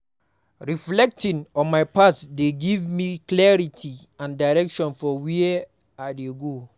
Reflecting on my past dey give me clarity and direction for where I dey go.